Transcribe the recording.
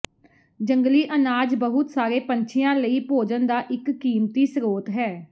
ਜੰਗਲੀ ਅਨਾਜ ਬਹੁਤ ਸਾਰੇ ਪੰਛੀਆਂ ਲਈ ਭੋਜਨ ਦਾ ਇੱਕ ਕੀਮਤੀ ਸਰੋਤ ਹੈ